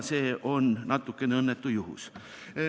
See oli natuke õnnetu lugu.